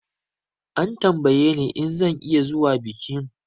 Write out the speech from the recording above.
An tambaye ni in zan iya zuwa bikin